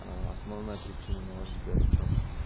основная причина на ваш взгляд в чем